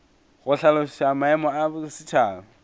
go hlaloša maemo ya bosetšhaba